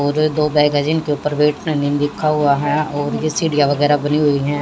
पूरे दो के ऊपर लिखा हुआ है और ये सीढ़ियां वगैरा बनी हुई है।